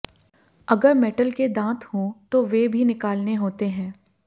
अगर मेटल के दांत हों तो वे भी निकालने होते हैं